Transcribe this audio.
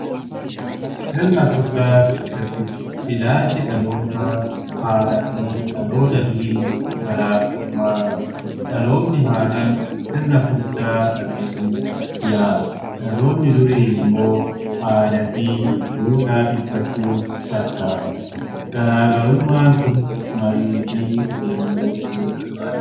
Sirna furdaa keessatti ilaalchi dhaloota haaraa fi dhaloota durii garaagarummaa qabu. Dhaloonni haaran Sirna furdaa salphisuuf yaala. Dhaloonni durii immoo aadaa fi duudhaa tikfachuuf tattaafata. Garaagarummaan kun marii fi waliigalteen furuu barbaachisaadha.